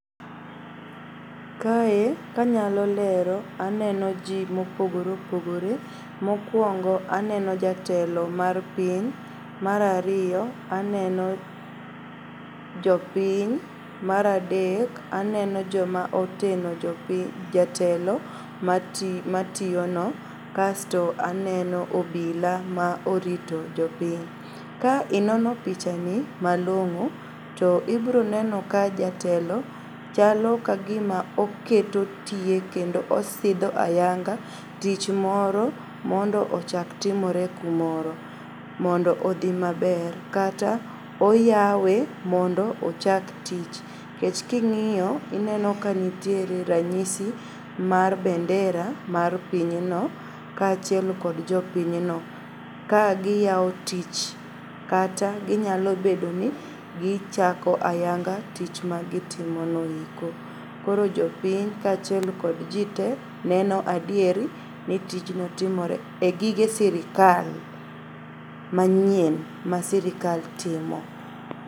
Kae kanyalo lero aneno jii mopogore opogore. Mokuongo aneno jatelo mar piny, mar ariyo aneno jopiny, mar adek aneno joma oteno jatelo mationo kasto aneno obila ma orito jopiny. Ka inono pichani malong'o to ibroneno ka jatelo chalo kagima oketo tie kendo osidho ayanga tich moro mondo ochak timore kumoro mondo odhi maber kata oyawe mondo ochak tich. Kech king'iyo ineno ka nitiere ranyisi mar bendera mar pinyno kachiel kod jopinyno kagiyao tich kata ginyalobedo ni gichako ayanga tich magitimono eko. Koro jopiny kachiel kod jii tee neno adieri ni tijno timore e gige sirkal manyien ma sirikal timo.